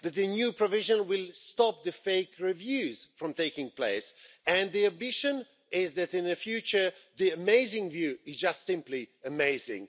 The new provision will stop the fake reviews from taking place, and the ambition is that, in the future, the amazing view is just simply amazing.